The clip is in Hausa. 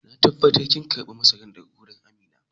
Na tabatar kin karba masaran daga wajen Amina?